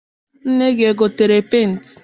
nne gị egotere penti?